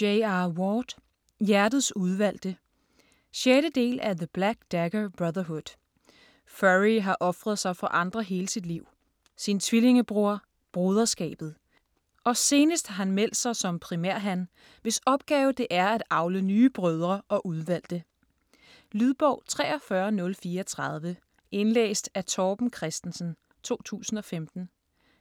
Ward, J. R.: Hjertets udvalgte 6. del af The black dagger brotherhood. Phury har ofret sig for andre hele sit liv: sin tvillingebror, broderskabet. Og senest har han meldt sig som primærhan, hvis opgave det er at avle nye brødre og udvalgte. Lydbog 43034 Indlæst af Torben Christensen, 2015.